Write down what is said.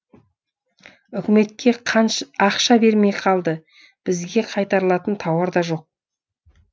үкіметке ақша бермей қалды бізге қайтарылатын тауар да жоқ